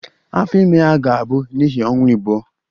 Afọ ime ya ga-abụ n'ihi ọnwa abụọ